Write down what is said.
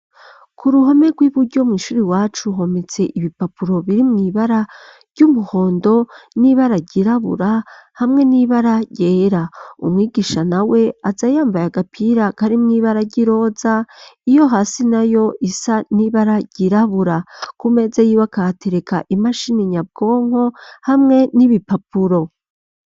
Ku ruhome, rw'iburyo, mw'ishuri iwacu, hometse ibipapuro, biri mw’ibara ry'umuhondo, n'ibara ryirabura, hamwe n'ibara ryera; umwigisha nawe, aza yambaye agapira, kari mw'ibara, ry'iroza, iyo hasi nayo, isa n'ibara ryirabura; ku meza yiwe, akahatereka, imashini nyabwonko, hamwe n'ibipapuro.